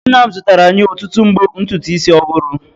Nna m zụtara anyị ọtụtụ mbo ntutu isi ọhụrụ.